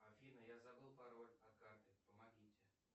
афина я забыл пароль от карты помогите